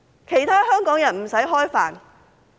其他香港人不用吃飯嗎？